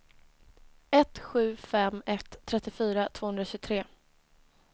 ett sju fem ett trettiofyra tvåhundratjugotre